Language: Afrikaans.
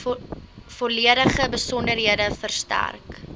volledige besonderhede verstrek